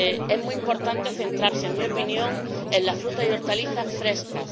Es muy importante centrarse, en mi opinión, en las frutas y hortalizas frescas.